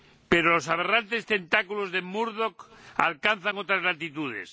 Pero los aberrantes tentáculos de Murdoch alcanzan otras latitudes.